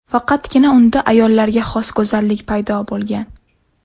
Faqatgina unda ayollarga xos go‘zallik paydo bo‘lgan.